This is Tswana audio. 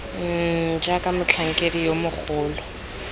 mmm jaaka motlhankedi yo mogolo